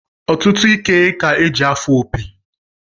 Ọtụtụ ike ka-eji afụ opi